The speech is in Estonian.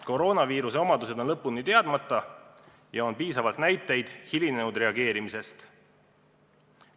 Koroonaviiruse omadused on lõpuni teadmata ja on piisavalt näiteid hilinenud reageerimisest.